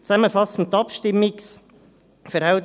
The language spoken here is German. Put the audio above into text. Zusammenfassend die Abstimmungsverhältnisse.